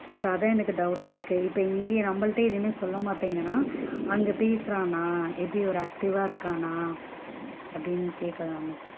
அதான் எனக்கு doubt டா இருக்கு so இங்கயே நம்மள்டையே எதுமே சொல்ல மாட்டேன்குறான், அங்க பேசுறானா அப்படி ஒரு active வா இருக்கானா? அப்படின்னு கேக்கலாம்,